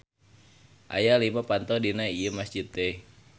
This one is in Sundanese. Aya lima panto dina ieu masjid teh.